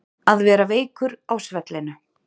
Að vera veikur á svellinu